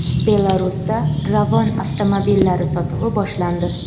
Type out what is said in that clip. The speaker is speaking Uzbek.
Belarusda Ravon avtomobillari sotuvi boshlandi.